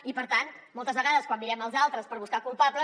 i per tant moltes vegades quan mirem els altres per buscar culpables